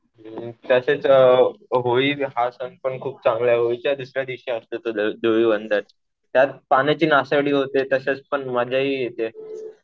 तसेच होळी हा सण पण खूप चांगला. होळीच्या दुसऱ्यादिवशी असतं धुलिवंदन. त्यात पाण्याची नासाडी होते. तसेच पण मजाही येते.